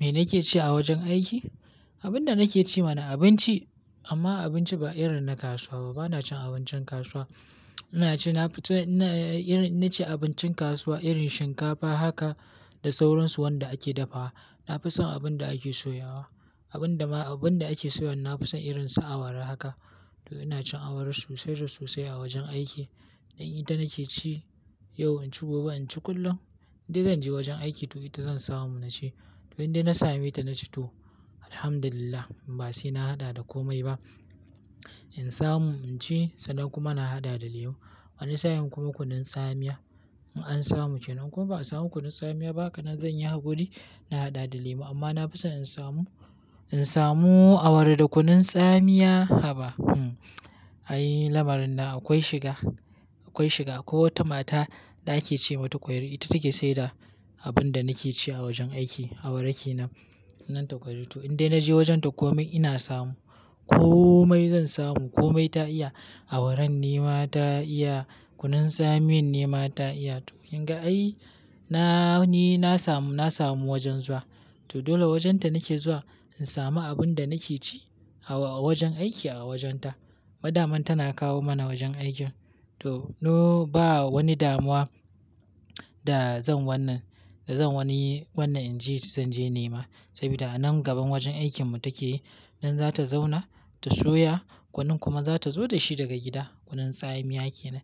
Me nake ci a wajen aiki? Abin da nake ci ma na abinci amma abinci ba irin na kasuwa ba. Bana cin abincin kasuwa. Ina ci, na fi son, na ci abincin kasuwa irin shinkafa haka da sauransu wanda ake dafawa. Na fi son abin da ake soyawa. Abin da ma, abin da ake soyawa na fi son irin su awara haka. To ina cin awara sosai da sosai a wajen aiki. Ni ita nake ci yau, inci gobe, inci kullum. In dai zan je wajen aiki to ita zan samu na ci. Indai na same ta na ci to, Alhamdulillah ba sai na haɗa da komai ba. In samu inci, sannan kuma na haɗa da lemu. Wani sa'in kuma kunun tsamiya. In an samu ke, nan kuma ba a samu kunun tsamiya ba, kanin zan yi hakuri na haɗa da lemu amma na fi so in samu, in samu awara da kunun tsamiya, haba hm, ai lamarin na akwai shiga, akwai shiga. Akwai wata mata da ake ce mata kwari, ita take sayar da abin da nake ci a wajen aiki, awara kenan. Nan ta kwari. To indai na je wajen ta komai ina samu. Komai zan samu. Komai ta iya. Awarar ne ma ta iya, kunun tsamiyan ne ma ta iya. To in ga ai na, ni na samu, na samu wajen zuwa. To dole wajen ta nake zuwa in sami abun da nake ci a wajen aiki a wajen ta. Ma daman tana kawo mana wajen aikin. To, no ba wani damuwa da zan wannan, da zan wani wannan in je, zan je nema saboda a nan gaban wajen aikinmu take. Nan za ta zauna ta soya, kunun kuma za ta zo da shi daga gida, kunun tsamiya kenan.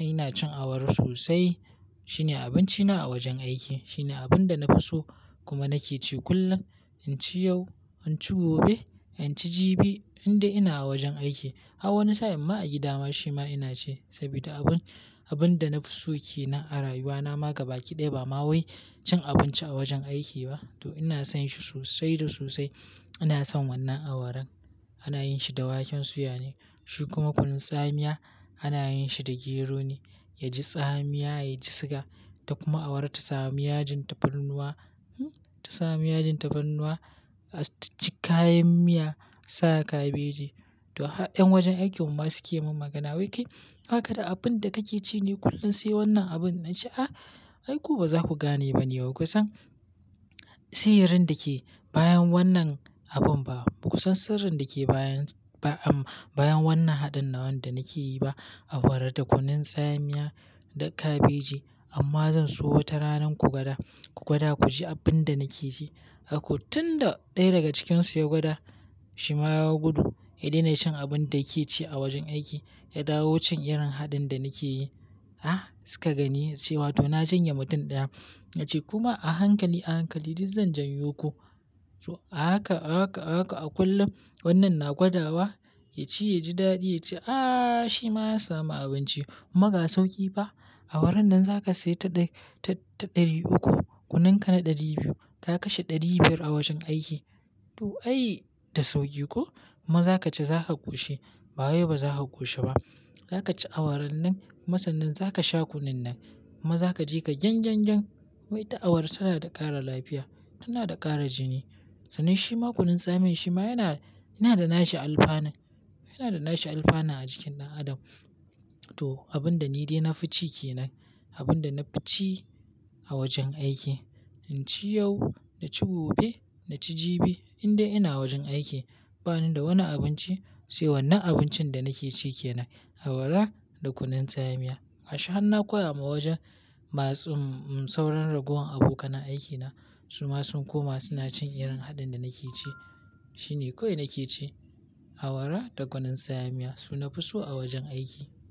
Ai ina cin awara sosai, shine abinci na a wajen aiki. Shine abin da na fi so kuma nake ci kullum. In ci yau, in ci gobe, in ci jibi in dai ina a wajen aiki. A wani sa'in ma a gida ma shi ma ina ci saboda abun, abun da na fi so ke nan a rayuwa na ma gabaki ɗaya ba ma wai cin abinci a wajen aiki ba. To ina son shi sosai da sosai. Ina son wannan awaran. Ana yin shi da waken soya ne, shi kuma kunun tsamiya ana yin shi da gero ne. Ya ji tsamiya, ya ji siga. Ta kuma awara ta sami yajin tafarnuwa, hm, ta sami yajin tafarnuwa, jikayen miya, sa kabaji. To, har ƴan wajen aikin mu ma su ke mun magana, wai kai baka da abun da kake ci ne kullum sai wannan abun? Na ce a, ai ku ba za ku gane ba ne baku san sirrin da ke bayan wannan abun ba. Baku san sirrin da ke bayan, bayan wannan haɗin nan wanda nake yi ba, awara da kunun tsamiya da kabeji. Amma zan so wata rana ku gwada, ku gwada ku ji abun da nake ji. Ko tun da ɗaya daga cikinsu ya gwada, shi ma ya gudu. Ya daina cin abun da yake ci a wajen aiki. Ya dawo cin irin haɗin da nake yi. A, suka gani cewa to na janye mutum ɗaya. Na ce kuma a hankali, a hankali duk zan janyo ku. To a haka, a haka, a haka a kullum wannan na gwada wa, ya ci, ya ji daɗi, ya ce a shi ma ya samu abinci. Kuma ga sauƙi fa, awaran nan za ka sayi ta ɗaya, ta ɗari uku, kunun ka na ɗari biyu. Ka kashe ɗari biyar a wajen aiki. To ai, da sauƙi ko? Kuma za ka ci za ka ƙoshi. Ba wai ba za ka ƙoshi ba. Za ka ci awaran nan, masannin za ka sha kunun nan kuma za ka ji ka gyan gyan gyan. Wai ta awara tana da ƙara lafiya, tana da ƙara jini. Sanin shi ma kunun tsamiyan shi ma yana, yana da nashi alfana. Yana da nashi alfana a jikin ɗan adam. To abun da ni dai na fi ci ke nan, abun da na fi ci a wajen aiki. In ci yau, na ci gobe, na ci jibi indai ina wajen aiki. Bani da wani abinci sai wannan abincin da nake ci kenan, awara da kunun tsamiya. Harshe hana koya wa wajen masu sauron ragowan abokanen aikin na. Su ma sun koma suna cin irin haɗin da nake ci. Shine kawai nake ci, awara da kunun tsamiya su nafi so a wajen aiki.